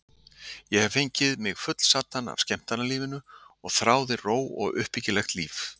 Ég hafði fengið mig fullsadda af skemmtanalífinu og þráði ró og uppbyggilegt líf.